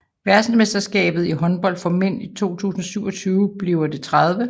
Verdensmesterskabet i håndbold for mænd 2027 bliver det 30